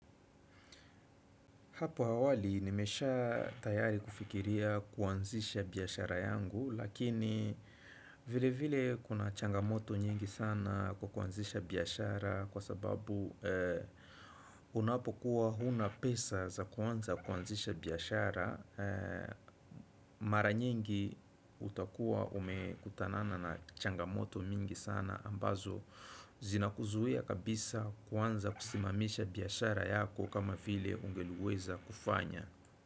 Hapo awali nimesha tayari kufikiria kuanzisha biashara yangu lakini vile vile kuna changamoto nyingi sana kwa kuanzisha biashara kwa sababu unapokuwa huna pesa za kuanza kuanzisha biashara. Mara nyingi utakuwa umekutanana na changamoto mingi sana ambazo zina kuzuia kabisa kuanza kusimamisha biashara yako kama vile ungeliweza kufanya.